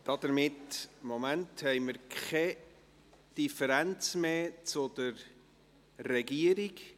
Damit haben wir keine Differenz mehr zur Regierung.